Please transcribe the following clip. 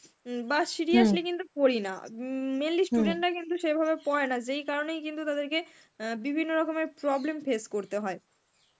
উম বা seriously কিন্তু পড়ি না. উম mainly student রা কিন্তু সেইভাবে পরে না যেই কারনেই কিন্তু তাদেরকে অ্যাঁ বিভিন্ন রকমের problem face করতে হয়.